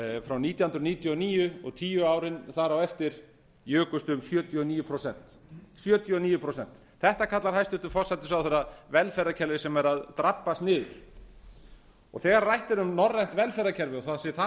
frá nítján hundruð níutíu og níu og tíu árin þar á eftir jukust um sjötíu og níu prósent þetta kallar hæstvirtur forsætisráðherra velferðarkerfi sem er að drabbast niður og þegar rætt er um norrænt velferðarkerfi og það sé það